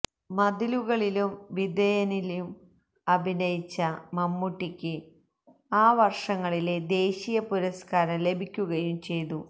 മതിലുകളിലും വിധേയനിലും അഭിനയിച്ച മമ്മൂട്ടിക്ക് ആ വർഷങ്ങളിലെ ദേശീയ പുരസ്കാരം ലഭിക്കുകയും ചെയ്തു